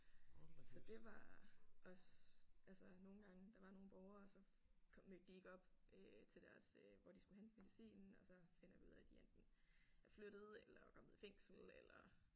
Så det var også altså nogle gange der var nogle borgere så mødte de ikke op øh til deres øh hvor de skulle hente medicinen og så finder vi ud af de enten er flyttet eller kommet i fængsel eller